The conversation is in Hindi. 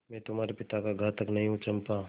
मैं तुम्हारे पिता का घातक नहीं हूँ चंपा